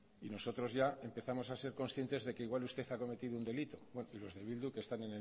y nosotros ya empezamos a ser conscientes de que igual usted ha cometido un delito los de bildu que están